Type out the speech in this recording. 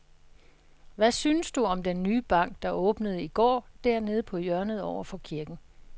Hvad synes du om den nye bank, der åbnede i går dernede på hjørnet over for kirken?